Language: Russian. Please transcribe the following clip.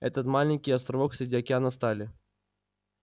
это маленький островок среди океана стали